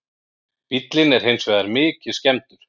Bíllinn er hins vegar mikið skemmdur